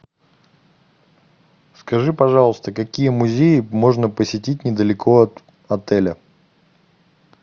скажи пожалуйста какие музеи можно посетить недалеко от отеля